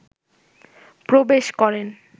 প্রবেশ করেন